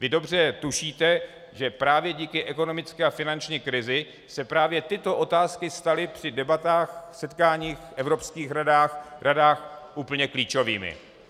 Vy dobře tušíte, že právě díky ekonomické a finanční krizi se právě tyto otázky staly při debatách, setkáních v evropských radách úplně klíčovými.